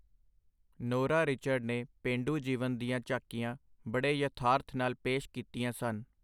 Nora Richard ਨੇ ਪੇਂਡੂ ਜੀਵਨ ਦੀਆਂ ਝਾਕੀਆਂ ਬੜੇ ਯਥਾਰਥ ਨਾਲ ਪੇਸ਼ ਕੀਤੀਆਂ ਸਨ.